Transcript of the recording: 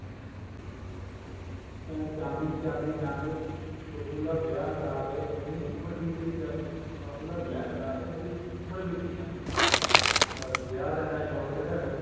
ਕਹਿੰਦਾ ਚਾਂਦੀ ਚਾਂਦੀ ਚਾਂਦੀ ਬਬੂਲਾ ਵਿਆਹ ਕਰਾ ਦੇ ਮੇਰੀ ਉਮਰ ਬੀਤ ਦੀ ਜਾਂਦੀ ਬਾਬੂਲਾ ਵਿਆਹ ਕਰਾ ਦੇ ਮੇਰੀ ਉਮਰ ਬੀਤ ਦੀ ਜਾਂਦੀ ਦੱਸ ਵਿਆਹ ਦਾ ਇੰਨਾ ਸ਼ੋਂਕ ਚੜਿਆ ਹੋਇਆ